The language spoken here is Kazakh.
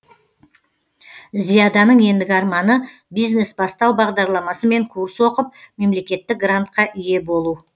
зияданың ендігі арманы бизнес бастау бағдарламасымен курс оқып мемлекеттік грантқа ие болу